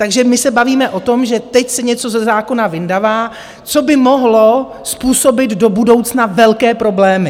Takže my se bavíme o tom, že teď se něco ze zákona vyndává, co by mohlo způsobit do budoucna velké problémy.